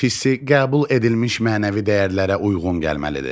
Borç hissə qəbul edilmiş mənəvi dəyərlərə uyğun gəlməlidir.